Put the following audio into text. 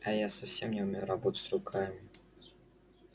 а я совсем не умею работать руками